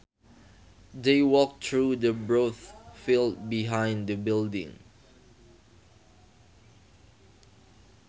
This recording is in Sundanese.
They walked through the broad field behind the building